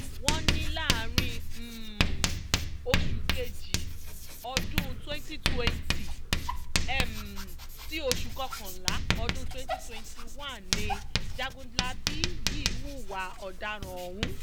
wọ́n ní láàrin um oṣù kejì ọdún twenty twenty um sí oṣù kọkànlá ọdún twenty twenty one ni jagunlabi yìí hùwà ọ̀daràn ọ̀hún